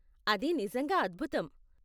అది నిజంగా అద్భుతం.